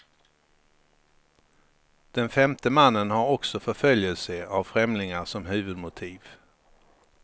Den femte mannen har också förföljelse av främlingar som huvudmotiv.